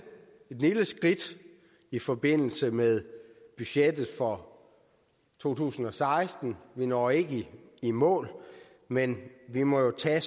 skridt i forbindelse med budgettet for to tusind og seksten vi når ikke i mål men vi må jo tage